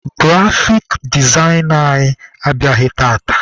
Grafik dezaina anyị abịaghị tata.